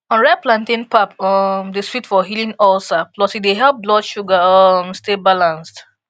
unripe plantain pap um dey sweet for healing ulcer plus e dey help blood sugar um stay balanced